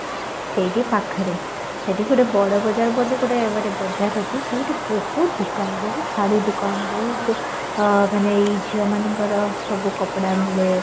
ସେଇଠି ପାଖରେ ସେଠି ଗୋଟେ ବଡ ବଜାର ବୋଲି ଗୋଟେ ଗୋଟେ ବଜାର ଅଛି ଯୋଉଠି ବହୁତ ଦୋକାନ ବହୁତ ଶାଢୀ ଦୋକାନ ବହୁତ ମାନେ ଏଇ ଝିଅ ମାନଙ୍କର ସବୁ କପଡା ମିଳେ